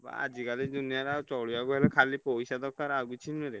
ଆଜିକାଲି ଦୁନିଆରେ ଆଉ ଚଳିଆକୁ ହେଲେ ଖାଲି ପଇସା ଦରକାର ଆଉ କିଛି ନୁହେଁରେ।